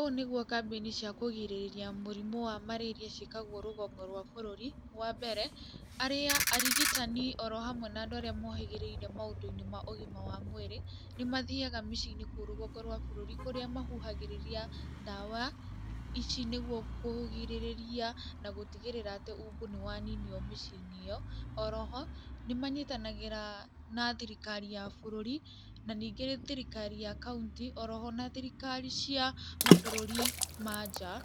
Ũũ nĩguo kambĩni cia kũgirĩrĩria mũrimũ wa marĩria ciĩkagwo rũgongo rwa bũrũri, wambere, arĩa arigitani oro hamwe na andũ arĩa mohĩgĩrĩire maũndũ-inĩ ma ũgima wa mwĩrĩ, nĩmathiaga mĩciĩ-inĩ kũu rũgongo rwa bũrũri kũrĩa mahuhagĩrĩria ndawa ici nĩguo kũrigĩrĩria na gũtigĩrĩra atĩ umbu nĩwaninwo mĩciĩ-inĩ ĩyo. Oro ho, nĩmanyitanagĩra na thirikari ya bũrũri na ningĩ thirikari ya kauntĩ oro ho na thirikari cia mabũrũri ma nja